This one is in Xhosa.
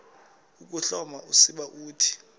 ukuhloma usiba uthi